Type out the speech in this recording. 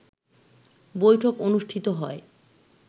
বৈঠক অনুষ্ঠিত হয়